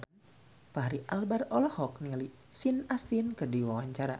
Fachri Albar olohok ningali Sean Astin keur diwawancara